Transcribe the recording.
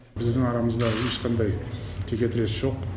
біздің арамызда ешқандай текетірес жоқ